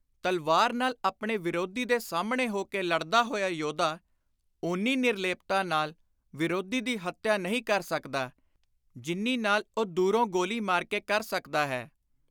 ਤਲਵਾਰ ਨਾਲ ਆਪਣੇ ਵਿਰੋਧੀ ਦੇ ਸਾਹਮਣੇ ਹੋ ਕੇ ਲੜਦਾ ਹੋਇਆ ਯੋਧਾ ਓਨੀ ਨਿਰਲੇਪਤਾ ਨਾਲ ਵਿਰੋਧੀ ਦੀ ਹੱਤਿਆ ਨਹੀਂ ਕਰ ਸਕਦਾ, ਜਿੰਨੀ ਨਾਲ ਉਹ ਦੂਰੋਂ ਗੋਲੀ ਮਾਰ ਕੇ ਕਰ ਸਕਦਾ ਹੈ।